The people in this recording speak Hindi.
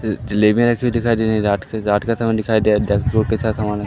अ जलेबियां ऐसी दिखाई दे रही हैं रात के रात का समय दिखाई दे रहा है। ।